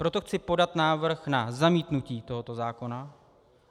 Proto chci podat návrh na zamítnutí tohoto zákona.